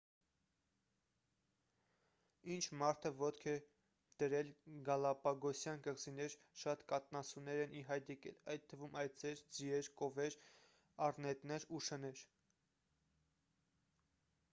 ինչ մարդը ոտք է դրել գալապագոսյան կղզիներ շատ կաթնասուններ են ի հայտ եկել այդ թվում այծեր ձիեր կովեր առնետներ ու շներ